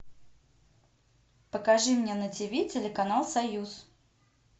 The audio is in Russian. покажи мне на тиви телеканал союз